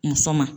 Muso ma